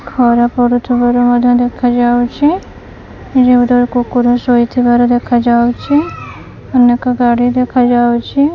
ଖରା ପଡ଼ୁଥୁବାର ମଧ୍ୟ ଦେଖାଯାଉଛି ଏଠି ଗୋଟେ କୁକୁର ଶୋଇଥିବାର ଦେଖାଯାଉଛି ଅନେକ ଗାଡ଼ି ଦେଖାଯାଉଛି।